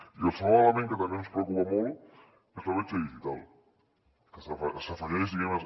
i el segon element que també ens preocupa molt és la bretxa digital que s’afegeix diguem ne